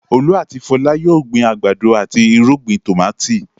Olú àti Fọlá yóò gbin àgbàdo àti irúgbìn tòmátì.